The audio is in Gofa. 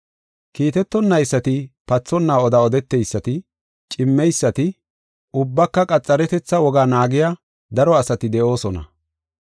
Kiitetonaysati, pathonna oda odeteysati, cimmeysati ubbaka qaxaretetha wogaa naagiya daro asati de7oosona.